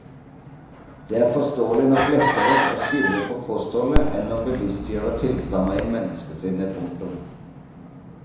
Det er forståelig nok lettere å skylde på kostholdet enn å bevisstgjøre tilstander i menneskesinnet. punktum